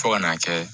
Fo ka n'a kɛ